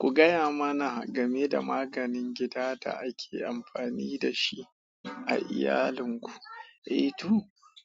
Ku gaya mana game da maganin gida da ake amfani da shi a iyalinku. Eh to,